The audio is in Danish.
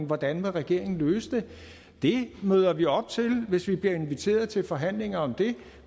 hvordan regeringen vil løse den det møder vi op til hvis vi bliver inviteret til forhandlinger om det